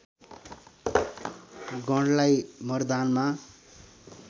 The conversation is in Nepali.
गणलाई मर्दानमा